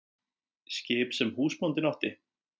Skip sem húsbóndinn átti?